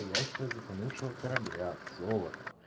я сейчас с затонувшего корабля золотом